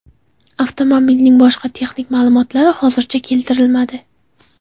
Avtomobilning boshqa texnik ma’lumotlari hozircha keltirilmadi.